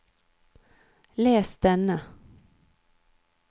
les denne